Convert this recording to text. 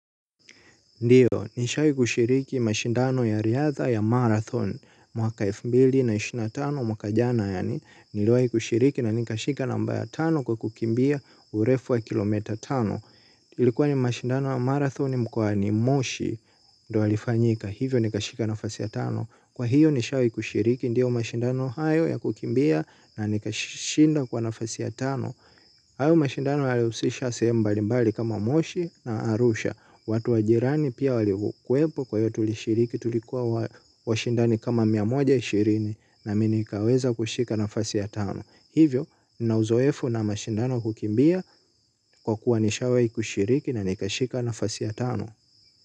Ndiyo, nishawahi kushiriki mashindano ya riadha ya marathon mwaka elfu mbili na ishirini na tano mwaka jana yaani niliwahi kushiriki na nikashika namba ya kwa kukimbia urefu wa kilomita tano. Ilikuwa ni mashindano ya marathon mkwa ni moshi ndio alifanyika hivyo nikashika nafasi ya tano. Kwa hiyo nishawahi kushiriki ndiyo mashindano hayo ya kukimbia na nikashinda kwa nafasi ya tano. Hayo mashindano yalihusisha sehemu mbalimbali kama moshi na arusha. Watu wajirani pia walikwepo kwa hiyo tulishiriki tulikuwa washindani kama mia moja ishirini na mimi nikaweza kushika nafasi ya tano. Hivyo ninauzoefu na mashindano wa kukimbia kwa kuwa nishawahi kushiriki na nikashika nafasi ya tano.